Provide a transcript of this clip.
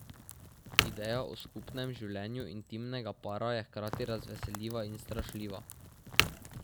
Ideja o skupnem življenju intimnega para je hkrati razveseljiva in strašljiva.